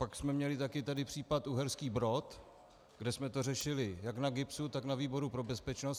Pak jsme měli taky tady případ Uherský Brod, kde jsme to řešili jak na GIBSu, tak na výboru pro bezpečnost.